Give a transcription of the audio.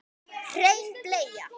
Hrein bleia